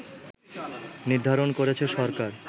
নির্ধারণ করেছে সরকার